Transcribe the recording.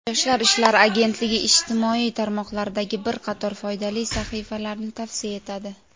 Yoshlar ishlari agentligi ijtimoiy tarmoqlardagi bir qator foydali sahifalarni tavsiya etadi.